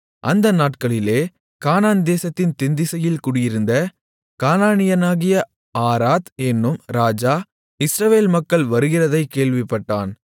அந்த நாட்களிலே கானான் தேசத்தின் தென்திசையில் குடியிருந்த கானானியனாகிய ஆராத் என்னும் ராஜா இஸ்ரவேல் மக்கள் வருகிறதைக் கேள்விப்பட்டான்